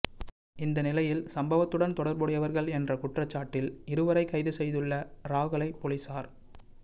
இந்த நிலையில் சம்பவத்துடன் தொடர்புடையவர்கள் என்ற குற்றச்சாட்டில் இருவரை கைதுசெய்துள்ள இராகலை பொலிஸார்